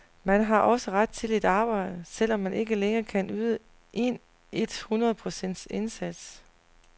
Man har også ret til et arbejde, selv om man ikke længere kan yde en et hundrede procents indsats.